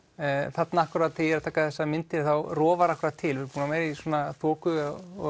þarna akkúrat þegar ég tek þessa mynd rofar akkúrat til við erum búnir að vera í þoku og